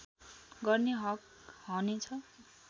गर्ने हक हने छ